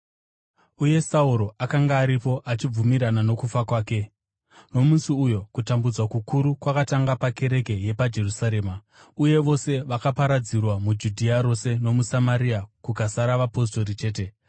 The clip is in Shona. Uye Sauro akanga aripo achibvumirana nokufa kwake. Kereke inotambudzwa uye inoparadzirwa Nomusi uyo kutambudzwa kukuru kwakatanga pakereke yepaJerusarema, uye vose vakaparadzirwa muJudhea rose nomuSamaria, kukasara vapostori chete.